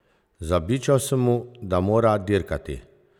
Zabičal sem mu, da mora dirkati!